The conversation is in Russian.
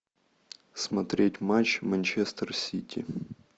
смотреть матч манчестер сити